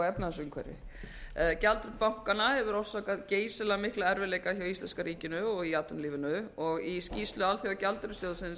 efnahagsumhverfi gjaldþrot bankanna hefur orsakað geysilega mikla erfiðleika hjá íslenska ríkinu og í atvinnulífinu og í skýrslu alþjóðagjaldeyrissjóðsins